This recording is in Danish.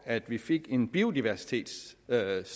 at vi fik en biodiversitetsstrategi